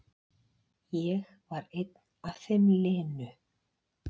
Ég var einn af þeim linu.